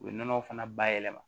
U ye nɔnɔ fana bayɛlɛma